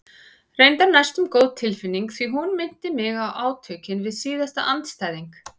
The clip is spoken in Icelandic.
Reyndar næstum góð tilfinning því hún minnti mig á átökin við síðasta andstæðing.